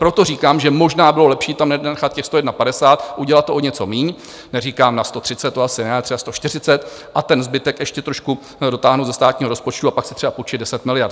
Proto říkám, že možná bylo lepší tam nenechat těch 151, udělat to o něco míň, neříkám na 130, to asi ne, třeba 140, a ten zbytek ještě trošku dotáhnout ze státního rozpočtu a pak si třeba půjčit 10 miliard.